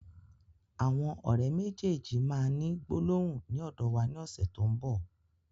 Àwọn ọ̀rẹ́ méjèèjì máa ni gbólóhùn ni ọ́dọ̀ wa ní ọ̀sẹ̀ tó n bọ̀